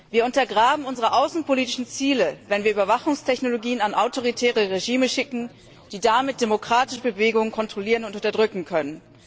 Wir untergraben unsere außenpolitischen Ziele, wenn wir Überwachungstechnologien an autoritäre Regime schicken, die damit demokratische Bewegungen kontrollieren und unterdrücken können.